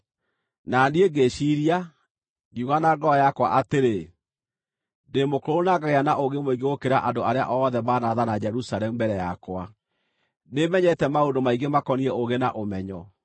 Na niĩ ngĩĩciiria, ngiuga na ngoro yakwa atĩrĩ, “Ndĩ mũkũrũ na ngagĩa na ũũgĩ mũingĩ gũkĩra andũ arĩa othe manaathana Jerusalemu mbere yakwa; nĩmenyete maũndũ maingĩ makoniĩ ũũgĩ na ũmenyo.”